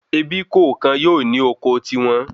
Ebí kọọkan yóò ní oko ti won